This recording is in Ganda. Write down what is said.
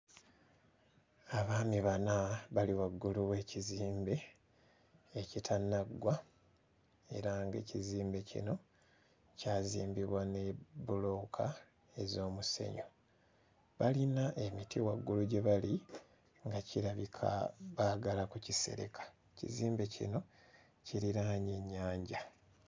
Abaami bana bali waggulu w'ekizimbe ekitannaggwa era ng'ekizimbe kino kyazimbibwa ne bbulooka ez'omusenyu. Balina emiti waggulu gye bali nga kirabika baagala kukisereka, ekizimbe kino kiriraanye nnyanja.